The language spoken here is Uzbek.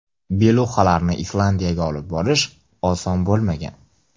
Beluxalarni Islandiyaga olib borish oson bo‘lmagan.